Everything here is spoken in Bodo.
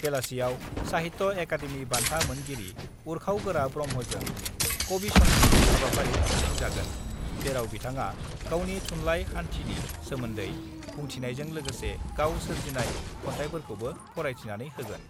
बेलासियाव साहित्य अकाडेमि बान्था मोनगिरि उर्खाव गोरा ब्रह्मजों कबिसन्धी हाबाफारि खुंफुंजागोन जेराव बिथाङा गावनि थुनलाइ हान्थिनि सोमोन्दै बुंथिनायजों लोगोसे गाव सोरजिनाय खन्थाइफोरखौबो फरायथिनानै होगोन।